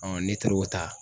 ne taar'o ta